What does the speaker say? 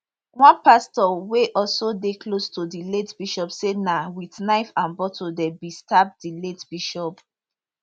one pastor wey also dey close to di late bishop say na wit knife and bottle dem bin stab di late bishop